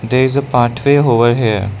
there is a pathway over here